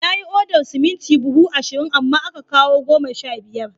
Ya yi odar siminti buhu ashirin, amma aka kawo goma sha biyar